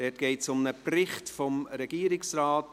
Es geht um einen Bericht, eine Genehmigung.